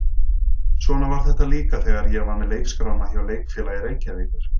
Svona var þetta líka þegar ég var með leikskrána hjá Leikfélagi Reykjavíkur.